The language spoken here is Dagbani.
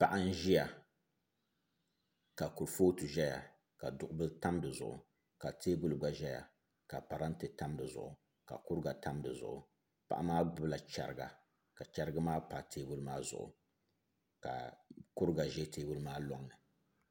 Paɣa n ʒiya ka kurifooti ʒɛya ka duɣubili tam di zuɣu ka teebuli gba ʒɛya ka parantɛ tam di zuɣu ka kuriga tam di zuɣu paɣa maa gbubila chɛriga ka chɛrigi maa pa teebuli maa zuɣu ka kuriga ʒɛ teebuli maa loŋni